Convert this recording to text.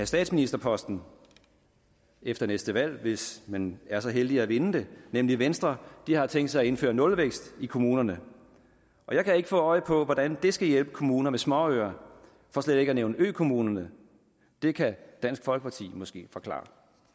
statsministerposten efter næste valg hvis man er så heldig at vinde det nemlig venstre har tænkt sig at indføre nulvækst i kommunerne og jeg kan ikke få øje på hvordan det skal hjælpe kommuner med småøer for slet ikke at nævne økommunerne det kan dansk folkeparti måske forklare